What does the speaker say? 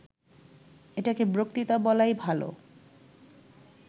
এটাকে বক্তৃতা বলাই ভালো